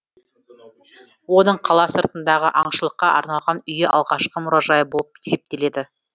оның қала сыртындағы аңшылыққа арналған үйі алғашқы мұражайы болып есептеледі